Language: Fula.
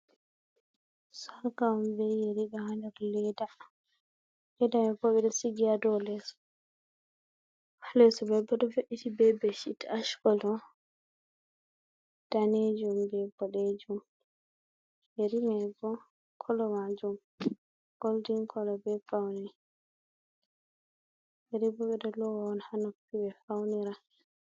Sarka on bee yeri ɗo haa nder leeda. Leeda man bo ɓe sigi nga dow leeso. Leeso man ɗo we''iti bee bedsheet ash colour, daneejum bee boɗeejum. Yeri may bo colour maajum golden colour bee pawni. Yeri bo ɓe ɗo loowa on haa noppi ɓe faunira.